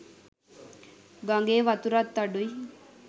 ගඟේ වතුරත් අඩුයි.